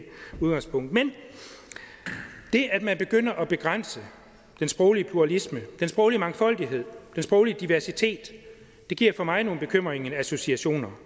udgangspunktet men det at man begynder at begrænse den sproglige pluralisme den sproglige mangfoldighed den sproglige diversitet giver mig nogle bekymrende associationer